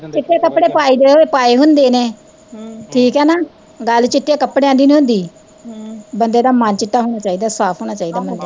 ਚਿੱਟੇ ਕੱਪੜੇ ਪਾਇਦੇ ਹੋਏ, ਪਾਏ ਹੁੰਦੇ ਨੇ ਹਮ ਠੀਕ ਐ ਨਾ, ਗੱਲ ਚਿੱਟੇ ਕੱਪੜਿਆ ਦੀ ਨੀ ਹੁੰਦੀ ਹਮ ਬਣਦੇ ਦਾ ਮੰ ਚਿੱਟਾ ਹੋਣਾ ਚਾਹੀਦਾ, ਸਾਫ ਹੋਣਾ ਚਾਹੀਦਾ